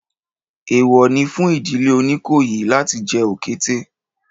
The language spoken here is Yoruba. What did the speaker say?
Èèwọ̀ ni fún ìdílé Oníkòyí láti jẹ òkété